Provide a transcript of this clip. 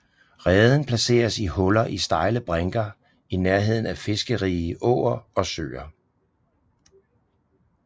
Reden placeres i huller i stejle brinker i nærheden af fiskerige åer og søer